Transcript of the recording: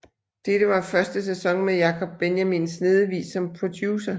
Dette var første sæson med Jacob Benjamin Snedevig som producer